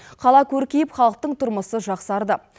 қала көркейіп халықтың тұрмысы жақсарды